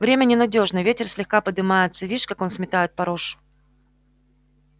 время ненадёжно ветер слегка подымается вишь как он сметает порошу